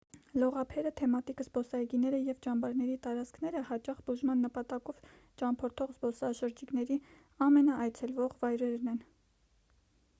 լողափերը թեմատիկ զբոսայգիները և ճամբարների տարածքները հաճախ բուժման նպատակով ճամփորդող զբոսաշրջիկների ամենաայցելվող վայրերն են